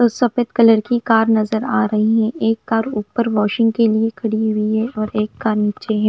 सफेद कलर की कार नजर आ रही है एक कार ऊपर वॉशिंग के लिए खड़ी हुई है और एक कार नीचे है।